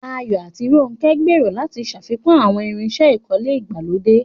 Ayo àti Ronke gbèrò láti ṣàfikún àwọn irinṣẹ́ ìkọ́lé ìgbàlódé